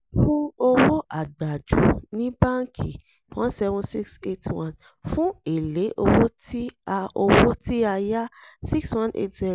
fún owó àgbàjú ní bánkì [cs[ one seven six eight one fún èlé owó tí a owó tí a yá six one eight zero